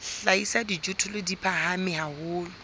hlahisa dijothollo di phahame haholo